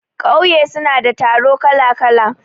ƙauye suna da taro kala-kala